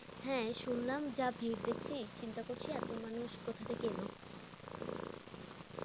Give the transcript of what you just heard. হ্যাঁ শুনলাম যা ভিড় দেখছি চিন্তা করছি এতো মানুষ কোথা থেকে এলো।